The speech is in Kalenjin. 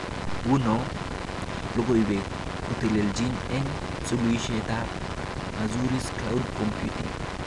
Nguno, logoiwek kotelechni eng suluishoitab Azure's Cloud Computing